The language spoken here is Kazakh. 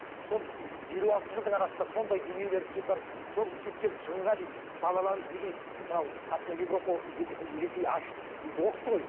сол елу алты жылдың арасында сондай дүниелер кетіватыр сол кеткен шығынға дейді балаларымыз неге мынау европа ресей ашып оқытты ғой